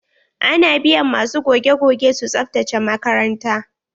Ana biyan ma su goge-goge su tsabtace makaranta.